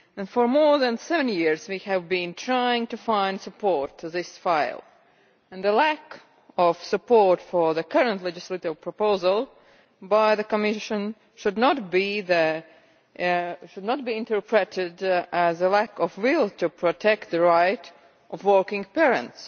For more than seven years, we have been trying to find support for this file, and the lack of support for the current legislative proposal by the Commission should not be interpreted as a lack of will to protect the rights of working parents.